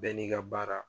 Bɛɛ n'i ka baara